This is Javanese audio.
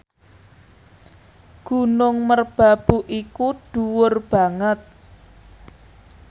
Gunung Merbabu iku dhuwur banget